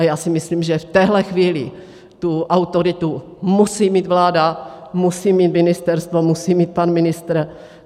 A já si myslím, že v téhle chvíli tu autoritu musí mít vláda, musí mít ministerstvo, musí mít pan ministr.